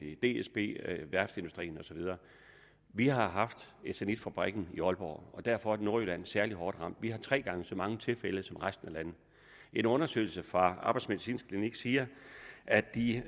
i dsb i værftsindustrien og så videre vi har haft eternitfabrikken i aalborg og derfor er nordjylland særlig hårdt ramt vi har haft tre gange så mange tilfælde som resten af landet en undersøgelse fra arbejdsmedicinsk klinik siger at de